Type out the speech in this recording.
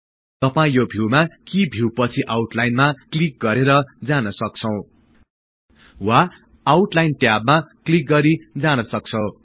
तपाई यो भिउमा कि भिउ पछि आउटलाईनमा क्लिक गरेर जान सक्छौं वा आउटलाइन ट्याबमा क्लिक गरि जान सक्छौं